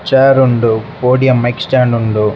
Chair ಉಂಡು podium extend ಉಂಡು.